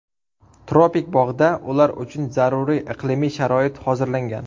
Tropik bog‘da ular uchun zaruriy iqlimiy sharoit hozirlangan.